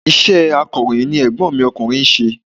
Iṣẹ́ akọ̀ròyìn ni ègbón mi okùnrin nse